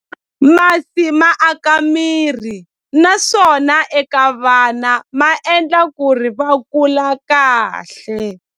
Masi ma aka miri naswona eka vana ma endla ku ri va kula kahle.